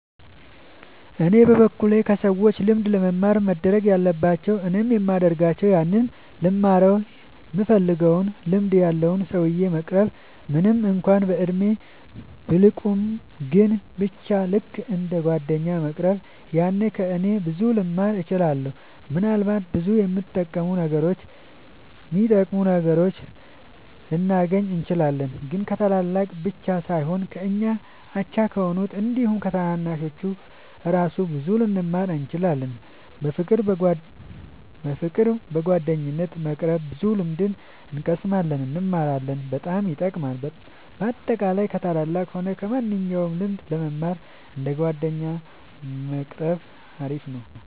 እኔ በበኩሌ ከሰዎች ልምድ ለመማር መደረግ ያለባቸው እኔም የሚደርጋቸው ያንን ልንማረው ይምንፈልገውን ልምድ ያለውን ሰውዬ መቅረብ ምንም እንኳን በእድሜ ቢልቁንም ግን በቻ ልክ እንደ ጓደኛ መቅረብ ያኔ ከ እነሱ ብዙ ልንማር እንችላለን። ምናልባትም ብዙ የሚጠቅሙ ነገሮችን ልናገኝ እንችላለን። ግን ከታላላቅ ብቻ ሳይሆን ከኛ አቻ ከሆኑት አንዲሁም ከታናናሾቹ እራሱ ብዙ ልንማር እንችላለን። በፍቅር በጓደኝነት በመቅረብ ብዙ ልምድ እንቀስማለን እንማራለን በጣም ይጠቅማል። በአጠቃላይ ከ ታላላቅም ሆነ ከማንኞቹም ልምድ ለመማር እንደ ጓደኛ መቆረብ አሪፍ ነው